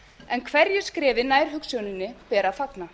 en hverju skrefi nær hugsjóninni ber að fagna